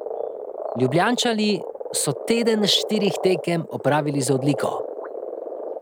Ljubljančani so teden štirih tekem opravili z odliko.